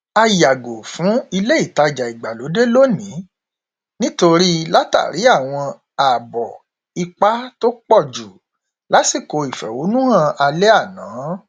a yàgò fún ilé ìtajà ìgbàlódé lónìí nítorí látàrí àwọn ààbọ ipá tó pọjù lásìkò ìfẹhónúhàn alẹ àná